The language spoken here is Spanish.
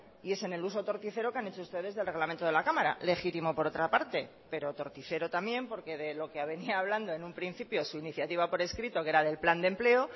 y es en el uso torticero que han hecho ustedes del reglamento de la cámara legítimo por otra parte pero torticero también porque de lo que venía hablando en un principio su iniciativa por escrito que era del plan de empleo